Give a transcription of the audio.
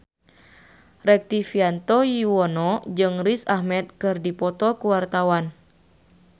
Rektivianto Yoewono jeung Riz Ahmed keur dipoto ku wartawan